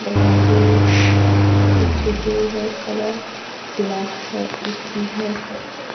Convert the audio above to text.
दरवाजे पीछे दो है कलर ब्लैक है ए_सी है।